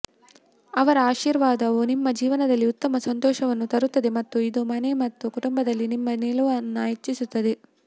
ಅವರ ಆಶೀರ್ವಾದವು ನಿಮ್ಮ ಜೀವನದಲ್ಲಿ ಉತ್ತಮ ಸಂತೋಷವನ್ನು ತರುತ್ತದೆ ಮತ್ತು ಇದು ಮನೆ ಮತ್ತು ಕುಟುಂಬದಲ್ಲಿ ನಿಮ್ಮ ನಿಲುವನ್ನು ಹೆಚ್ಚಿಸುತ್ತದೆ